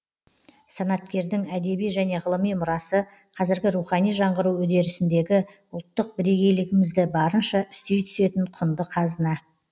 санаткердің әдеби және ғылыми мұрасы қазіргі рухани жаңғыру үдерісіндегі ұлттық бірегейлігімізді барынша үстей түсетін құнды қазына